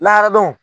Lahara dɔnw